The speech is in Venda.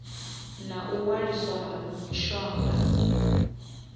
na u waliswa ha mishonga